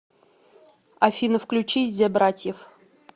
афина включи зе братьев